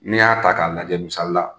Ne y'a ta k'a lajɛ misali la,